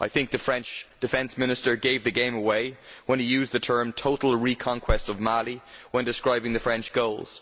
The French defence minister gave the game away when he used the term total reconquest of Mali' when describing the French goals.